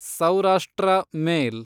Saurashtra ಮೇಲ್